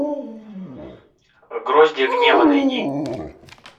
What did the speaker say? гроздья гнева найди